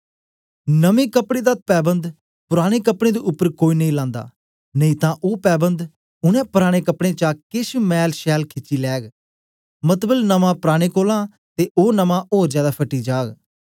नमें कपड़े दा तैवन्द पुराने कपड़ें दे उपर कोई नेई लान्दा नेई तां ओ पैबन्द उनै पराने कपड़ें चा केश मैलछैल खिची लैग मतलब नमां पुराने कोलां ते ओ नमां ओर जादै फटी जाग